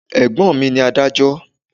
Ẹ̀gbọ́n mi ní adájọ́.